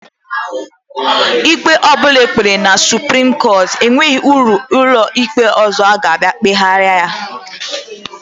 Ikpe ọbụna ekpere na supreme court enwerọ ụlọikpe ọzọ ka abia kpeheraya.